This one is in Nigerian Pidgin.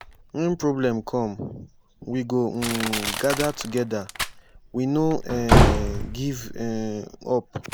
wen problem come we go um gada togeda we no um give um up.